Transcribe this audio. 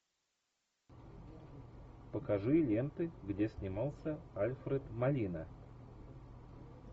покажи ленты где снимался альфред молина